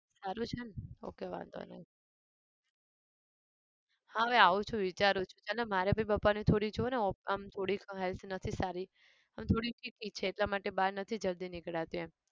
સારું છે ને ok વાંધો નહિ. હા હવે આવું છુ વિચારું છુ ચાલ ને મારે भी પપ્પાની થોડી જો ને આમ થોડીક health નથી સારી આમ થોડીક બીપી છે એટલા માટે બાર નથી જલ્દી નીકળાતું એમ.